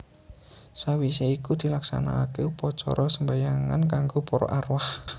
Sawisé iku dilaksanaake upacara sembahyangan kanggo para arwah